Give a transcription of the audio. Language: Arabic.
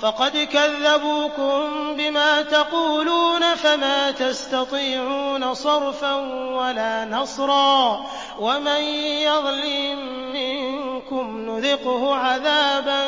فَقَدْ كَذَّبُوكُم بِمَا تَقُولُونَ فَمَا تَسْتَطِيعُونَ صَرْفًا وَلَا نَصْرًا ۚ وَمَن يَظْلِم مِّنكُمْ نُذِقْهُ عَذَابًا